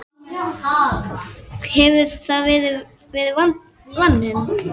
hefur það ekki verið vaninn?